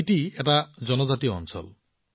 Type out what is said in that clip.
স্পিতি এটা জনজাতীয় অঞ্চল